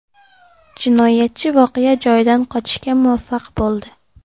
Jinoyatchi voqea joyidan qochishga muvaffaq bo‘ldi.